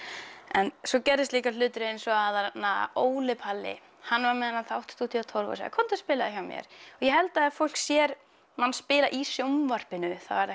en svo gerðust líka hlutir eins og að þarna að Óli Palli hann var með þennan þátt stúdíó tólf og sagði komdu og spilaðu hjá mér og ég held að þegar fólk sér mann spila í sjónvarpinu þá er